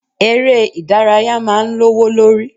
Ere ìdárayá máa ń lowo lórí.